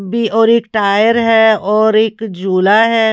और एक टायर है और एक झूला है।